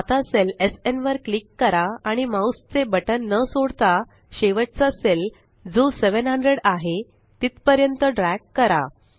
आता सेलSN वर क्लिक करा आणि माउस चे बटन न सोडता शेवटचा सेल जो 700 आहे तिथपर्यंत ड्रॅग करा